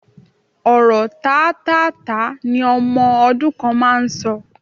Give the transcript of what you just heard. Ọ̀rọ̀ tátáààtá ni ọmọ ọdún kan máa ń sọ